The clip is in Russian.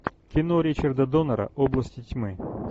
кино ричарда доннера области тьмы